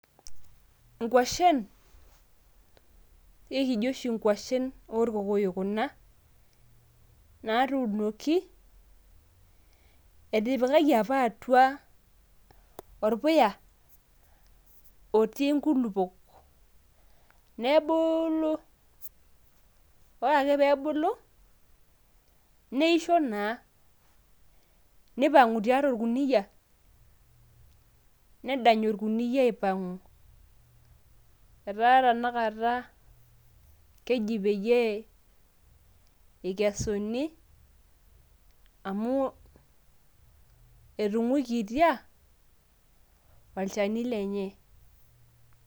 ingwashen, ekijo oshi ingwashen orkokoyok kuna. naatunoki. etipikaki apa atu aorpuya otii nkulupuok. nebuulu. ore ake pee ebulu neisho naa, nipang'u tiatua orkuniyia, nedany orkunyia aipang'u. etaa tenakata keji pee eikesuni amu etung'uikitia olchani lenye.